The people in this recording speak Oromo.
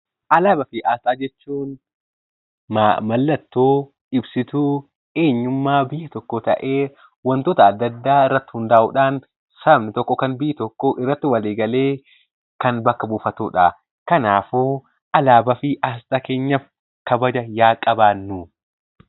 Alaabaa fi asxaa jechuun mallattoo ibsituu eenyummaa fi tokkoo ta'ee wantoota adda addaa irratti hundaa'uun sabni tokko yookiin biyyi tokko irratti walii galee kan bakka buufatudha. Kanaafuu alaabaa fi asxaa keenyaafa kabaja haa qabaannu.